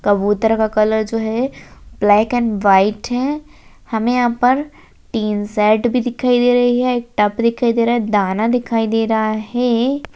कबूतर का कलर जो है ब्लैक एंड व्हाइट है हमें यहां पर टीन शेड भी दिखाई दे रही है एक टब दिखाई दे रा है दाना दिखाई दे रहा है।